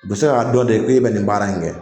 U bɛ se k'a dɔn de k'e bɛ nin baara in kɛ